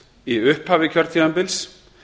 í upphafi kjörtímabils